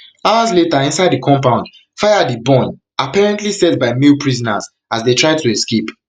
hours later inside di compound fire dey burn apparently set by male prisoners as dem try to escape